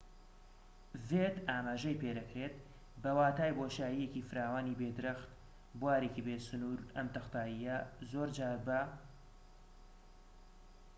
ئەم تەختاییە زۆر جار بە‎ ‏"ڤید ئاماژەی پێدەکرێت، بە واتای بۆشاییەکی فراوانی بێ درەخت، بوارێکی بێسنوور